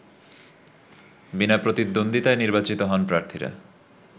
বিনা প্রতিদ্বন্দ্বিতায় নির্বাচিত হন প্রার্থীরা